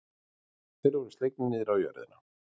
Þeir voru slegnir niður á jörðina.